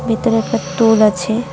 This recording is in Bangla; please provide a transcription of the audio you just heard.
ভিতরে একটা টুল আছে।